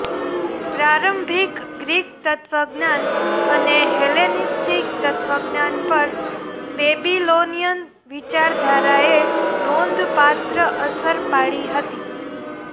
પ્રારંભિક ગ્રીક તત્વજ્ઞાન અને હેલેનિસ્ટિક તત્વજ્ઞાન પર બેબીલોનીયન વિચારધારાએ નોંધપાત્ર અસર પાડી હતી